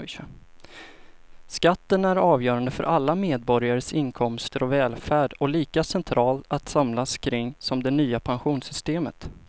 Skatten är avgörande för alla medborgares inkomster och välfärd och lika centralt att samlas kring som det nya pensionssystemet.